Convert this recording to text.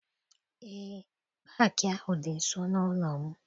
Eé, paakị ahụ dị nso n'ụlọ m.